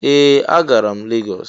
Ee! Agara m Lagos.